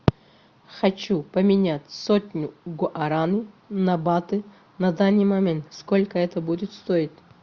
хочу поменять сотню гуаран на баты на данный момент сколько это будет стоить